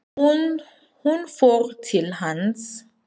Hún fór til hans.